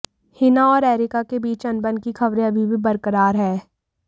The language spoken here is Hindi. हिना और एरिका के बीच अनबन की खबरें अभी भी बरकरार हैं